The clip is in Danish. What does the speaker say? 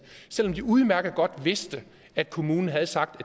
selv om de udmærket godt vidste at kommunen havde sagt